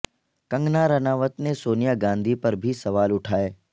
کنگنا رناوت نے سونیا گاندھی پر بھی سوال اٹھائے